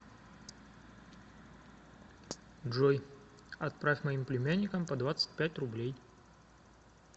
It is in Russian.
джой отправь моим племянникам по двадцать пять рублей